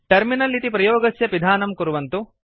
terminal इति प्रयोगस्य पिधानं कुर्वन्तु